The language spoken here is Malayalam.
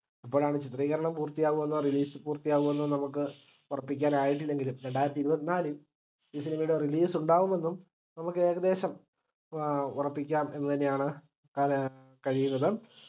എപ്പോഴാണ് ചിത്രീകരണം പൂർത്തിയവന്നും release പൂർത്തിയാവാന്ന് നമുക്ക് ഒറപ്പിക്കാൻ ആയിട്ടില്ലെങ്കിലും രണ്ടായിരത്തി ഇരുപത്തിനാലിൽ ഈ cinema യുടെ release ഉണ്ടാവുമെന്നും നമുക്ക് ഏകദേശം ആഹ് ഉറപ്പിക്കാം എന്ന് തന്നെയാണ് പറയാൻ കഴിയുന്നത്